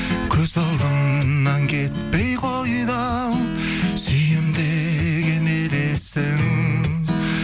көз алдымнан кетпей қойды ау сүйемін деген елесің